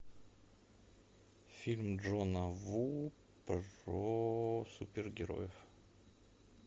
фильм джона ву про супергероев